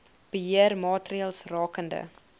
beheer maatreëls rakende